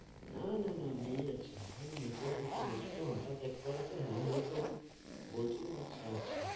না না না বেড়িয়ে যাচ্ছিল না। ওই network issue হয়েছিল হঠাৎ একবারেতে hello hello তো বলছিলাম হয়ত শোনা যাচ্ছিল।